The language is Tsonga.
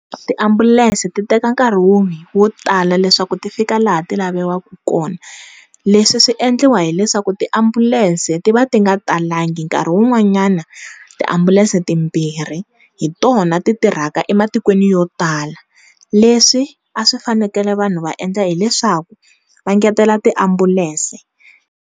Tiambulense ti teka nkarhi wo tala leswaku ti fika laha ti laviwaka kona leswi swi endliwa hileswaku tiambulense ti va ti nga talangi nkarhi wu n'wanyana tiambulense timbirhi hi tona ti tirhaka ematikweni yo tala leswi a swi fanekele vanhu va endla hileswaku va ngetela tiambulense.